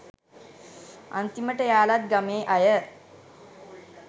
අන්තිමට එයාලත් ගමේ අය